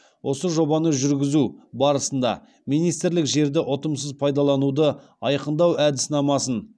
осы жобаны жүргізу барысында министрлік жерді ұтымсыз пайдалануды айқындау әдіснамасын